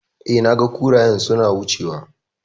E, naga kurayen suna wucewa.